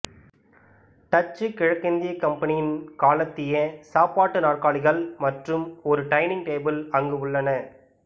Dutch கிழக்கிந்திய கம்பெனியின் காலத்திய சாப்பாட்டு நாற்காலிகள் மற்றும் ஒரு டைனிங் டேபிள் அங்கு உள்ளன